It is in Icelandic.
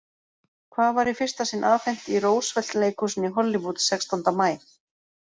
Hvað var í fyrsta sinn afhent í Roosevelt-leikhúsinu í Hollywood sextánda maí?